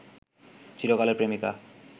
চিরকালের প্রেমিকা